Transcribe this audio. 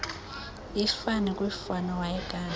ifani kwiifani awayekade